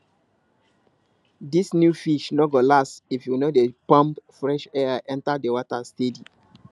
this new fish no go last if you no dey pump fresh air enter the water steady